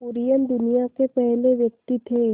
कुरियन दुनिया के पहले व्यक्ति थे